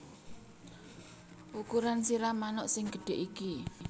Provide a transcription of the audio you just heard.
Ukuran sirah manuk sing gedhe iki